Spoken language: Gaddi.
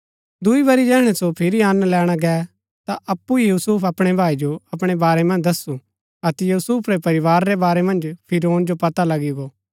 दूई बरी जैहणै सो फिरी अंन लैणा गै ता अप्पु ही यूसुफ अपणै भाई जो अपणै बारै मन्ज दस्सु अतै यूसुफ रै परिवार रै बारै मन्ज फिरौन जो पता लगी गो